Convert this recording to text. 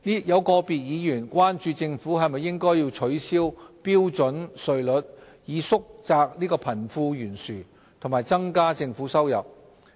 有個別議員關注政府應否取消標準稅率，以縮窄貧富懸殊和增加政府收入。